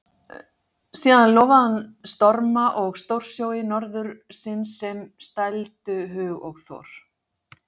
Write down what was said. Síðan lofaði hann storma og stórsjói norðursins sem stældu hug og þor.